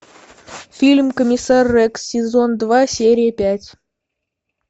фильм комиссар рекс сезон два серия пять